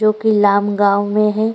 जो कि लाम गांव में है।